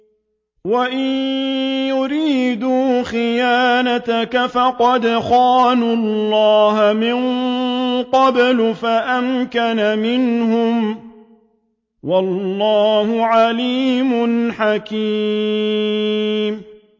وَإِن يُرِيدُوا خِيَانَتَكَ فَقَدْ خَانُوا اللَّهَ مِن قَبْلُ فَأَمْكَنَ مِنْهُمْ ۗ وَاللَّهُ عَلِيمٌ حَكِيمٌ